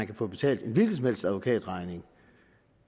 kan få betalt en hvilken som helst advokatregning